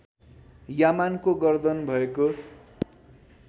यामानको गर्दन भएको